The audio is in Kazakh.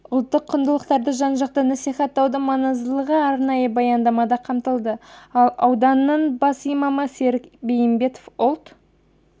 ұлттық құндылықтарды жан-жақты насихаттаудың маңыздылығы арнайы баяндамада қамтылды ал ауданның бас имамы серік бейімбетов ұлт